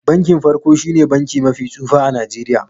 Bankin farko shine banki mafi tsufa a Najeriya.